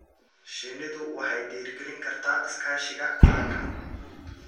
Shinnidu waxay dhiirigelin kartaa iskaashiga qaranka.